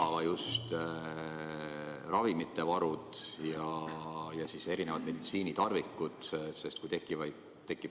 Aga just ravimivarud ja erinevad meditsiinitarvikud.